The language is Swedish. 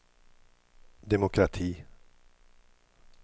demokrati